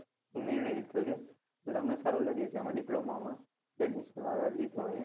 નિર્ણય લીધો છે, અને સારું લાગે એ પ્રમાણે diploma માં લીધો છે.